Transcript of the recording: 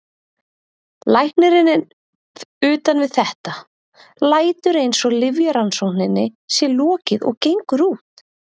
Læknirinn er utan við þetta, lætur eins og lyfjarannsókninni sé lokið og gengur út.